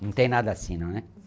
Não tem nada assim, não né?